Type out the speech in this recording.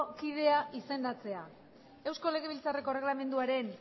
kidea izendatzea eusko legebiltzarreko erreglamenduaren